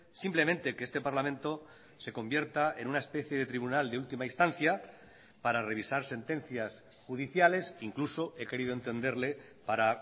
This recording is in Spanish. simplemente que este parlamento se convierta en una especie de tribunal de última instancia para revisar sentencias judiciales incluso he querido entenderle para